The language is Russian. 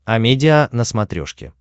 амедиа на смотрешке